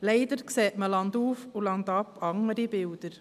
Leider sieht man landauf und landab andere Bilder.